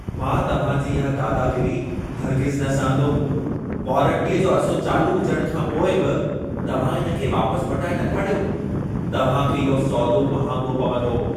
मां तव्हां जी इहा दादागीरी हरगिज़ न सहंदुमि। वारंटीअ जो अरिसो चालू हुजण खां पोइ बि तव्हां इन खे वापसि मटाए नथा ॾियो। तव्हां खे इहो सौदो महांगो पवंदो।